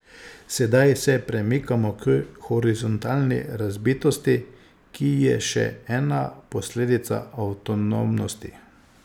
Sedaj se premikamo k horizontalni razbitosti, ki je še ena posledica avtonomnosti.